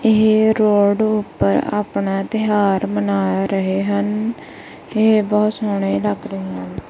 ਇਹ ਰੋਡ ਉੱਪਰ ਆਪਣਾ ਤਿਉਹਾਰ ਮਨਾ ਰਹੇ ਹਨ ਇਹ ਬਹੁਤ ਸੋਹਣੇ ਲੱਗ ਰਹੇ ਹਨ।